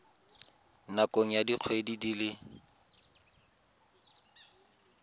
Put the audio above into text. nakong ya dikgwedi di le